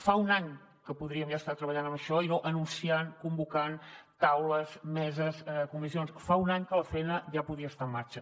fa un any que podríem ja estar treballant en això i no anunciant convocant taules meses comissions fa un any que la feina ja podia estar en marxa